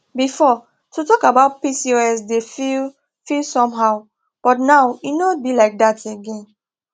before to talk about pcos dey feel feel somehow but now e no be like that again